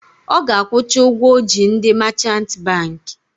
Ọ ga-akwụcha ụgwọ ọ ji ndị machant bankị